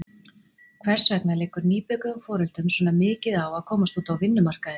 Hvers vegna liggur nýbökuðum foreldrum svona mikið á að komast út á vinnumarkaðinn?